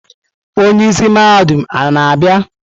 Onye isi mahadum a na-abịa?